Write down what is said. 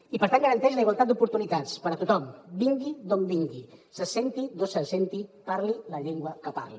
i per tant garanteix la igualtat d’oportunitats per a tothom vingui d’on vingui se senti d’on se senti parli la llengua que parli